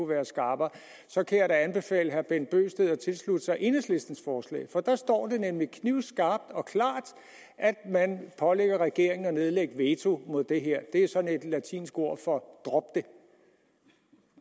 været skarpere så kan jeg da anbefale herre bent bøgsted at tilslutte sig enhedslistens forslag for der står det nemlig knivskarpt og klart at man pålægger regeringen at nedlægge veto mod det her det er sådan et latinsk ord for drop det